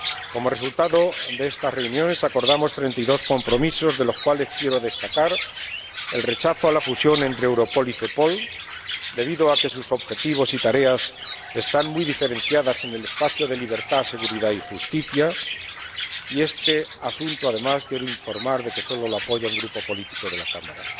Como resultado de estas reuniones acordamos treinta y dos compromisos, de los cuales quiero destacar el rechazo a la fusión entre Europol y Cepol, debido a que sus objetivos y tareas están muy diferenciados en el espacio de libertad, seguridad y justicia —y quiero informar, además, de que este asunto solo lo apoya un grupo político de la Cámara—.